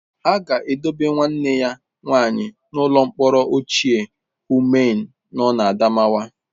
A ga-edobe nwanne ya nwaanyị n'ụlọ mkpọrọ ochie Numan nọ n'Adamawa.